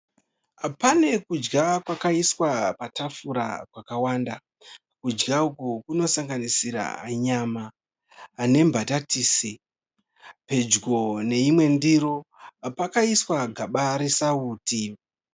Pane kudya kwakaiswa patafura kwakawanda. Kudya uku kunosanganisira nyama nembatatisi, pedyo neimwe ndiro pakaiswa gaba resauti.